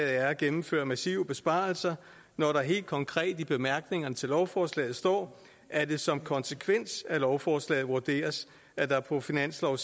er at gennemføre massive besparelser når der helt konkret i bemærkningerne til lovforslaget står at det som konsekvens af lovforslaget vurderes at der på finansloven